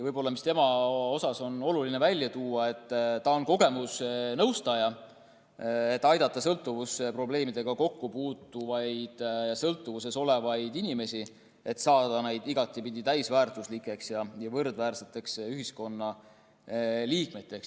Tema puhul on võib-olla oluline välja tuua see, et ta on kogemusnõustaja, kes aitab sõltuvusprobleemidega kokku puutuvaid ja sõltuvuses olevaid inimesi, et nad saaksid igatpidi täisväärtuslikeks ja võrdväärseteks ühiskonnaliikmeteks.